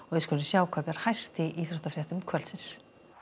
við skulum sjá hvað ber hæst í íþróttafréttum kvöldsins